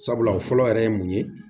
Sabula o fɔlɔ yɛrɛ ye mun ye